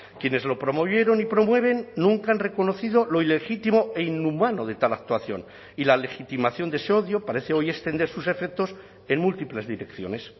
quienes lo promovieron y promueven nunca han reconocido lo ilegítimo e inhumano de tal actuación y la legitimación de ese odio parece hoy extender sus efectos en múltiples direcciones